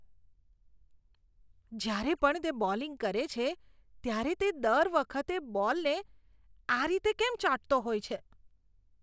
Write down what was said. જ્યારે પણ તે બોલિંગ કરે છે ત્યારે તે દર વખતે બોલને આ રીતે કેમ ચાટતો હોય છે?